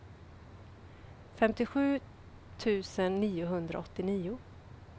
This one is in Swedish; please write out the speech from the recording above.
femtiosju tusen niohundraåttionio